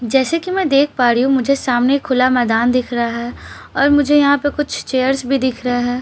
जैसे की मैं देख पा रही हूँ मुझे सामने खुला मैदान दिखाई दे रहा है और मुझे यहाँ पर कुछ चेयर्स भी दिख रहा है --